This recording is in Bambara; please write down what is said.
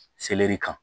Seleri kan